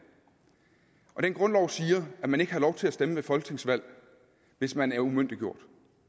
og den grundlov siger at man ikke har lov til at stemme ved folketingsvalg hvis man er umyndiggjort